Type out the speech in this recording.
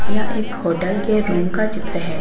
यह एक होटल के रूम का चित्र है।